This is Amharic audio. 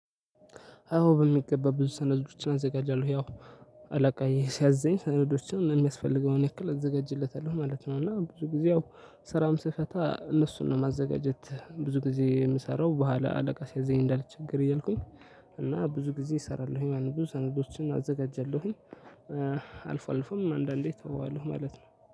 አዎ በሚገባ ብዙ ሰነዶችን አዘጋጃለሁ ያው አላቃዬ ሲያዘኝ ሰነዶችን የሚያስፈልገውን ያክል እዘጋጅለታለሁ ማለት ነው። እና ብዙ ጊዜ አዎ ስራም ስፈታ እነሱን ነው ማዘጋጀት ብዙ ጊዜ የምሰራው በኋላ አለቃ ሲያዘኝ እንዳልቸገር እያልኩኝ። እና ብዙ ጊዜ እሰራለሁኝ ማለት ነው ብዙ ሰነዶችን አዘጋጃለሁኝ። አልፎ አልፎም አንዳንዴ ተወዋለሁ ማለት ነው